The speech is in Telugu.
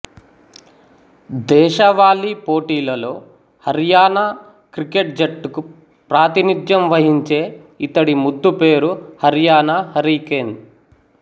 దేశవాళి పోటీలలో హర్యానా క్రికెట్ జట్టుకు ప్రాతినిధ్యం వహించే ఇతడి ముద్దుపేరు హర్యానా హరికేన్